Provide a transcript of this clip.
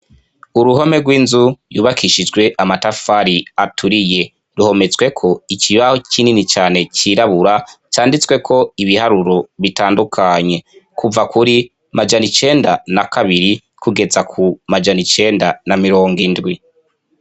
Uruhome rw'inzu yubakishijwe amatafari aturiye ruhometsweko ikibaho c'inini cane cirabura canditswe ko ibiharuro bitandukanye kuva kuri majano icenda na kabiri kugeza ku majano icenda na mirongo indwi.